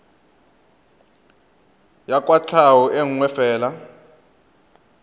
ya kwatlhao e nngwe fela